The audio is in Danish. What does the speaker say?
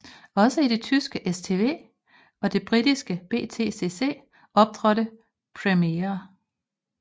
Også i det tyske STW og det britiske BTCC optrådte Primera